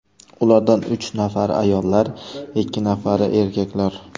Ulardan uch nafari ayollar, ikki nafari erkaklar.